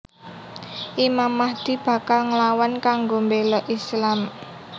Imam Mahdi bakal nglawan kanggo béla Islam